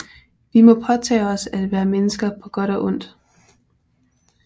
Vi må påtage os at være mennesker på godt og ondt